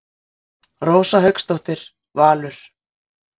Rósa Hauksdóttir, Valur.